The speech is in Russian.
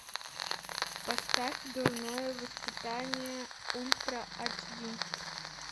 поставь дурное воспитание ультра айч ди